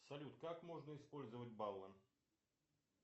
салют как можно использовать баллы